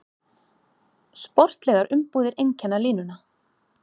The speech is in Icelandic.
Sportlegar umbúðir einkenna línuna